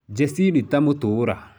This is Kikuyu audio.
[Jacinta Mutura]